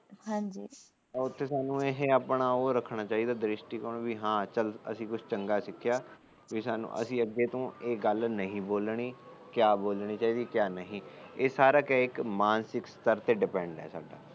ਉਥੇ ਸਾਨੂੰ ਇਹ ਆਪਣਾ ਉਹ ਰੱਖਣਾ ਚਾਹੀਦਾ ਦਰਿਸ਼ਟੀ ਕੋਣ ਕਿ ਹਾ ਚੱਲ ਅਸੀ ਕੁਸ਼ ਚੰਗਾ ਸਿੱਖਿਆ ਅਸੀ ਅੱਗੇ ਤੋ ਇਹ ਗੱਲ ਨਹੀਂ ਬੋਲਣੀ ਕਿਆ ਬੰਲਣੀ ਚਾਹੀਦੀ ਕਿਆ ਨਹੀਂ ਇਹ ਸਾਰਾ ਕਿਆ ਇਹ ਇੱਕ ਮਾਨਸਿਕ ਸਤਰ ਤੇ depend